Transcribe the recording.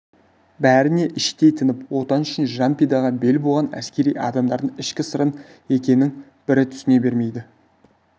бәріне іштей тынып отан үшін жан пидаға бел буған әскери адамдардың ішкі сырын екінің бірі түсіне бермейді